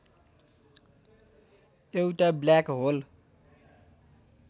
एउटा black whole